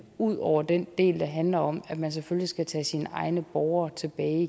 ud over den del der handler om at man selvfølgelig skal tage sine egne borgere tilbage